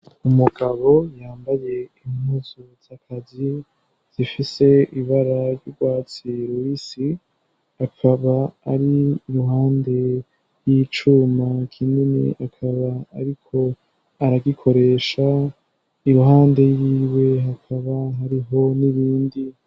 Umugabo yambaye impuzu z'akazi zifise ibara ry'urwatsi rubisi, akaba ari iruhande y'icuma kinini akaba ariko aragikoresha iruhande yiwe hakaba hariho n'ibindi.